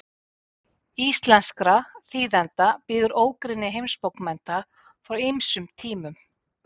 íslenskra þýðenda bíður ógrynni heimsbókmennta frá ýmsum tímum